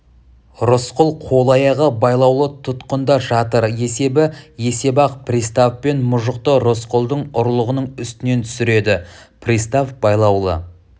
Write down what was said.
рысқұл қол-аяғы байлаулы тұтқында жатыр есебі есеп-ақ пристав пен мұжықты рысқұлдың ұрлығының үстінен түсіреді пристав байлаулы